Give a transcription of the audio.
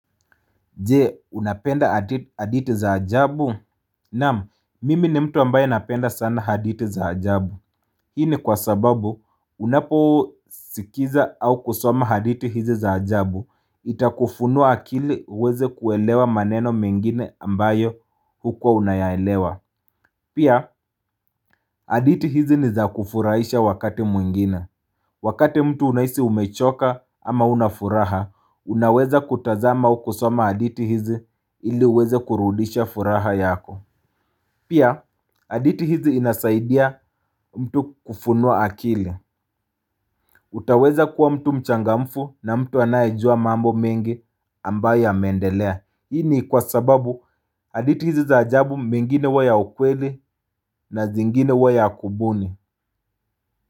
Jee, unapenda haditi zaajabu? Naam, mimi ni mtu ambayo napenda sana haditi zaajabu. Hii ni kwa sababu, unapo sikiza au kusoma hadithi hizi za ajabu, itakufunua akili uweze kuelewa maneno mengine ambayo huko unayaelewa. Pia, hadithi hizi ni za kufurahisha wakati mwingine. Wakate mtu unahisi umechoka ama unafuraha, unaweza kutazama ukusoma hadithi hizi ili uweze kurudisha furaha yako. Pia haditi hizi inasaidia mtu kufunuwa akili. Utaweza kuwa mtu mchangamfu na mtu anayijua mambo mengi ambayo ya meendelea. Hii ni kwa sababu aditi hizi za ajabu mingine wa ya ukweli na zingine wa ya kubuni.